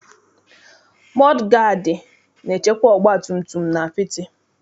Mọdụ gaadị na-echekwa ọgbatumtum n'apịtị.